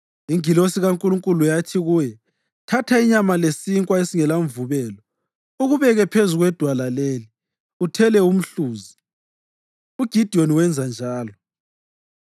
Ingilosi kaNkulunkulu yathi kuye, “Thatha inyama lesinkwa esingelamvubelo ukubeke phezu kwedwala leli, uthele umhluzi.” UGidiyoni wenza njalo.